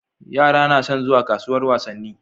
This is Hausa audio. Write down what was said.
Yara nason zuwa kasuwar wasanni